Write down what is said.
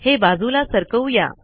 हे बाजूला सरकवू या